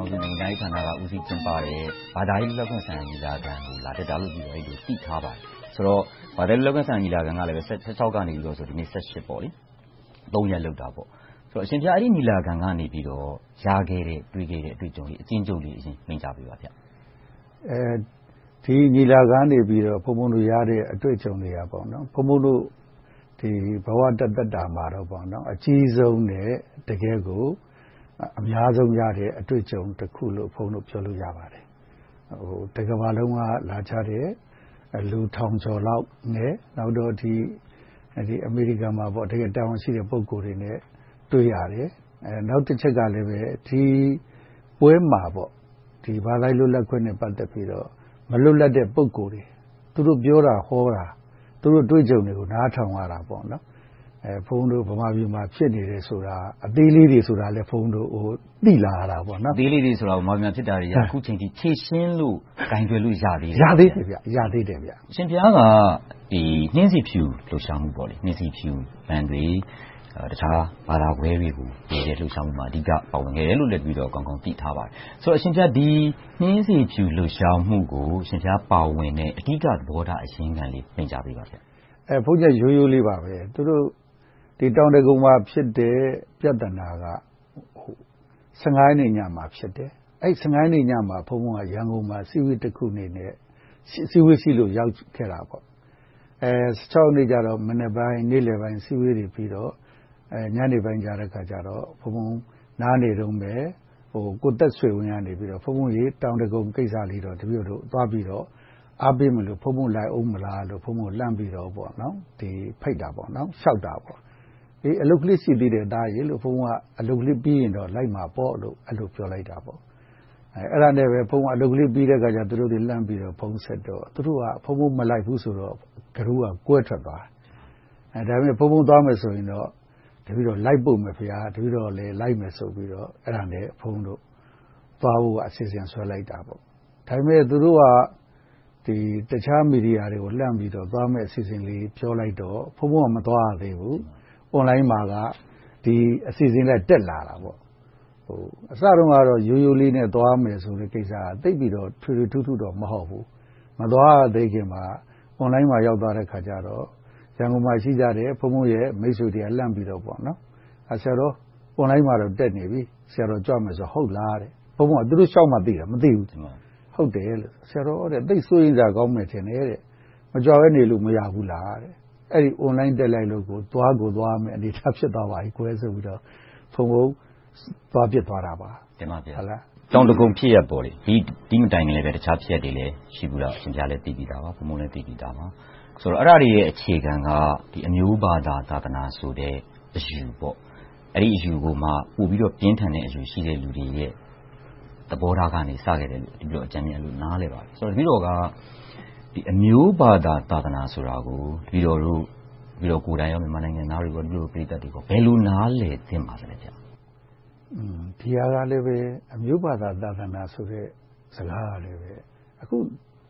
ောင်စု နိုင်ငံခြားရေးဝန်ကြီးဌာနက ကြီးမှူးကျင်းပတဲ့ ဘာသာရေးလွတ်လပ်ခွင့် ညီလာခံကို လာတက်တာလို့ တပည့်တော် သိထားပါတယ်။ ဆိုတော့ ဘာသာရေးလွတ်လပ်ခွင့် ညီလာခံကလည်း ဇူလိုင်လ ရက်နေ့ကနေ ရက်နေ့အထိ ရက် လုပ်ခဲ့တယ်။ အရှင်ဘုရား အဲဒီညီလာခံကနေ ရရှိခဲ့တဲ့ တွေ့ခဲ့တဲ့ အတွေ့အကြုံတွေကို အကျဉ်းချုပ်လေး မိန့်ကြားပေးပါဘုရား။ ဒီညီလာခံကနေ ဘုန်းဘုန်းတို့ ရရှိတဲ့ အတွေ့အကြုံတွေက ဘုန်းဘုန်းတို့ ဘဝတသက်တာမှာတော့ အကြီးဆုံးနဲ့ တကယ့်ကို အများဆုံးရတဲ့ အတွေ့အကြုံတခုလို့ ဘုန်းဘုန်းတို့ ပြောလို့ရပါတယ်။ တကမ္ဘာလုံးက လာကြတဲ့ လူထောင်ကျော်လောက်နဲ့၊ နောက်ပြီး အမေရိကန်မှာ တကယ့်ကို တာဝန်ရှိတဲ့ ပုဂ္ဂိုလ်တွေနဲ့ တွေ့ရတယ်။ နောက်တချက်က ဒီပွဲမှာ ဘာသာရေးလွတ်လပ်ခွင့်နဲ့ ပတ်သက်ပြီးတော့ မလွတ်လပ်တဲ့ ပုဂ္ဂိုလ်တွေ၊ သူတို့ပြောတာဟောတာ၊ သူတို့အတွေ့အကြုံတွေကို နားထောင်ရတယ်။ ဘုန်းဘုန်းတို့ ဗမာပြည်မှာ ဖြစ်နေတယ်ဆိုတာ အသေးလေးတွေဆိုတာလည်း သိလာရတယ်။ အသေးလေးတွေဆိုတာ ဗမာပြည်မှာ ဖြစ်နေတာတွေက အခုအချိန်အထိ ဖြေရှင်းလို့၊ ကိုင်တွယ်လို့ ရသေးလား။ ရသေးတယ်။ အရှင်ဘုရားက နှင်းဆီဖြူလှုပ်ရှားမှု - White Rose Campaign - တခြားဘာသာခြားတွေကို ကူညီတဲ့လှုပ်ရှားမှုမှာ အဓိကပါဝင်ခဲ့တယ်လို့လည်း တပည့်တော် ကောင်းကောင်းသိထားပါတယ်။ ဒီနှင်းဆီဖြူ လှုပ်ရှားမှုကို အရှင်ဘုရားပါဝင်တဲ့ အဓိကသဘောထား အရင်ခံလေးကို မိန့်ကြားပေးပါ။ ရိုးရိုးလေးပါ။ တောင်ဒဂုံမှာ ဖြစ်တဲ့ပြဿနာက ရက်နေ့ညမှာ ဖြစ်တယ်။ အဲဒီ ရက်နေ့ညမှာ ဘုန်းဘုန်းက ရန်ကုန်မှာ အစည်းအဝေးတခုရှိလို့ ရောက်နေခဲ့တယ်။ ရက်နေ့ကျတော့ မနက်ပိုင်း၊ နေ့လယ်ပိုင်း အစည်းအဝေးတွေပြီးတော့ ညနေပိုင်းမှာ ဘုန်းဘုန်း နားနေတုန်း ကိုသက်ဆွေဝင်း က ‘ဘုန်းဘုန်း.. တောင်ဒဂုံကိစ္စကို တပည့်တော်တို့ သွားအားပေးမလို့၊ ဘုန်းဘုန်း လိုက်အုံးမလာ’ ဆိုပြီးတော့ လှမ်းပြီးတော့ လျှောက်တယ်။‘အလုပ်ကလေးပြီးရင် လိုက်မယ်ဆိုပြီးတော့’ ပြန်ပြောလိုက်တယ်။ အဲဒါနဲ့ပဲ အလုပ်ပြီးတဲ့အခါမှာ သူတို့ကို လှမ်းဖုန်းဆက်တော့၊ သူတို့က ဘုန်းဘုန်းမလိုက်ဘူးဆိုတော့ အုပ်စုက ကွဲထွက်သွားတယ်။ ဒါပေမဲ့ ဘုန်းဘုန်းသွားမယ်ဆိုရင် လိုက်ပို့မယ်ဆိုပြီး ဘုန်းဘုန်းတို့ သွားဖို့အတွက် အစီအစဉ်ဆွဲလိုက်တယ်။ ဒါပေမဲ့ သူတို့က တခြားမီဒီယာတွေကို လှမ်းပြီးတော့ သွားမယ်အစီအစဉ်တွေကို ပြောလိုက်တော့ ဘုန်းဘုန်းက မသွားရသေးဘူး၊ Online မှာ ဒီအစီအစဉ်က တက်လာတယ်။ အစတုန်းကတော့ ရိုးရိုးလေးနဲ့ သွားမယ်ဆိုတဲ့ကိစ္စက သိပ်ပြီးတော့ ထွေထွေထူးထူးတော့ မဟုတ်ဘူး။ မသွားရသေးခင်မှာ Online ပေါ် ရောက်သွားတဲ့အခါကြတော့ ရန်ကုန်မှာရှိတဲ့ ဘုန်းဘုန်းမိတ်ဆွေတွေက လှမ်းပြီးပြောကြတယ် - ‘ဆရာတော် Online မှာတော့ တက်နေပြီ၊ ဆရာတော် ကြွမယ်ဆိုတာ ဟုတ်လား’ လို့ မေးကြတယ်။ ဘုန်းဘုန်းက အဲဒီကိစ္စကို သူတို့လျှောက်မှ သိရတယ်။ မသိဘူး။ ‘ဆရာတော် သိပ်စိုးရိမ်စရာကောင်းမယ် ထင်တယ်။ မကြွဘဲနေလို့ မရဘူးလား။’ လို့ ပြောကြတယ်။ အဲဒီ Online တက်လိုက်လို့ကြောင့် သွားကိုသွားရမယ့် အနေအထားဖြစ်သွားပါပြီကွယ် ဆိုပြီးတော့ ဘုန်းဘုန်းသွားဖြစ်သွားတယ်။ တောင်ဒဂုံ ဖြစ်ရပ်ပေါ့။ ဒီမတိုင်ခင်လဲ အခြားဖြစ်ရပ်တွေလည်း ရှိခဲ့တယ်ဆိုတာ တပည့်တော်တို့လည်း သိပြီသာ။ အဲဒါတွေရဲ့ အခြေခံက အမျိုးဘာသာ၊ သာသနာဆိုတဲ့ အယူပေါ့။ အဲဒီအယူကိုမှ ပိုပြီးတော့ ပြင်းထန်းအယူရှိတဲ့ လူတွေရဲ့ သဘောထားကနေ စခဲ့တယ်လို့ တပည့်တော် အကြမ်းမျဉ်းလေး နားလည်ပါတယ်။ တပည့်တော်က အမျိုးဘာသာ၊ သာသနာဆိုတာကို တပည့်တော်ကိုယ်တိုင်နဲ့ နိုင်ငံသားတွေ ဘယ်လိုနားလည်ပေးသင့်ပါလဲ။ ဒီဟာကလဲ အမျိုးဘာသာ၊ သာသနာဆိုတဲ့ စကားကလည်း